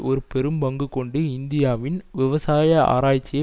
ஒரு பெரும் பங்கு கொண்டு இந்தியாவின் விவசாய ஆராய்ச்சியை